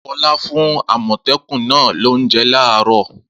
Fọlá fún àmọ̀tẹ́kùn náà lóúnjẹ láàárọ̀!